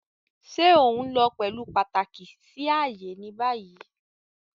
Ṣe o nlo pẹlu pataki si aaye ni bayi?